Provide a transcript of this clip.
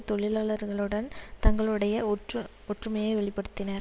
தொழிலாளர்களுடன் தங்களுடைய ஒற்று ஒற்றுமையை வெளி படுத்தினர்